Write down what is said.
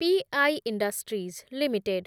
P I industries limited